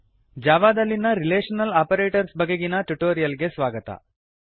Java ದಲ್ಲಿನ relational operators ಬಗೆಗಿನ tutorial ಗೆ ಸ್ವಾಗತ